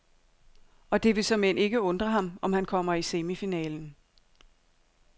Og det vil såmænd ikke undre ham, om han kommer i semifinalen.